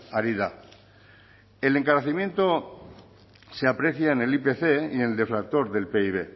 ari da el encarecimiento se aprecia en el ipc y en el deflactor del pib